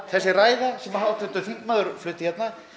þessi ræða sem háttvirtur þingmaður flutti hérna